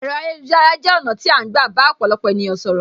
Ẹ̀rọ ayélujára jẹ ọ̀nà tí a ń gbà bá ọ̀pọ̀lọpọ̀ ènìyàn sọ̀rọ̀.